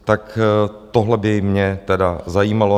Tak tohle by mě tedy zajímalo.